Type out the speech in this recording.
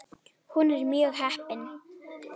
Hún er mjög heppin.